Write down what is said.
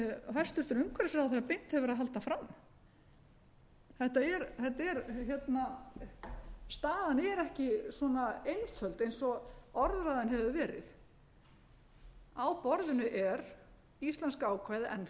hæstvirtur umhverfisráðherra beint hefur verið að halda fram þetta er staðan er ekki svona einföld eins og orðræðan hefur verið á borðinu er íslenska ákvæðið enn ég skil það þannig